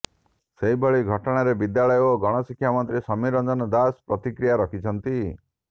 ସେହିଭଳି ଘଟଣାରେ ବିଦ୍ୟାଳୟ ଓ ଗଣଶିକ୍ଷା ମନ୍ତ୍ରୀ ସମୀର ରଞ୍ଜନ ଦାଶ ପ୍ରତିକ୍ରିୟା ରଖିଛନ୍ତି